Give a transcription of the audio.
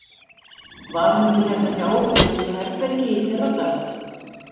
Var hún ekki hérna hjá okkur í næsta herbergi í fyrradag?